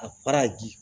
A fara ji